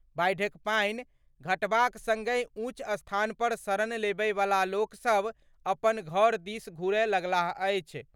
बाढ़िक पानि घटबाक संगहि ऊंच स्थान पर शरण लेबयवला लोक सभ अपन घर दिस घूरए लगलाह अछि।